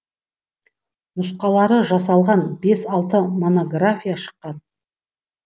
нұсқалары жасалған бес алты монография шыққан